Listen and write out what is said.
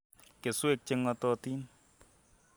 keswek che ng'atootin